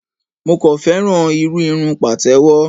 Mo kàn féràn irú irun Pàtẹ́wọ́.